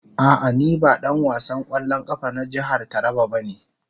A'a, ni ba dan wasan kwallon kafa na jihar Taraba bane.